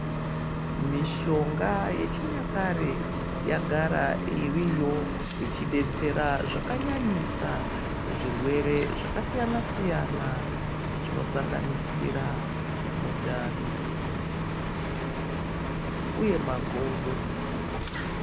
Mishonga yechinyakare yagara iriyo ichibetsera zvakanyanyisa kuzvirwere zvakasiyana-siyana. Zvinosanganisira mundani, musoro uye magodo.